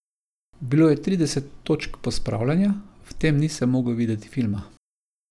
Bilo je trideset točk pospravljanja, v tem nisem mogel videti filma.